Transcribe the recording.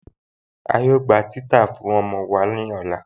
A yóò gbà titàá fún ọmọ wa ni ọlá.